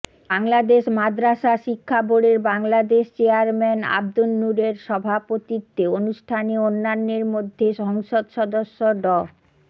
বাংলাদেশ মাদ্রাসা শিক্ষা বোর্ডের বাংলাদেশ চেয়ারম্যান আবদুন নূরের সভাপতিত্বে অনুষ্ঠানে অন্যান্যের মধ্যে সংসদ সদস্য ড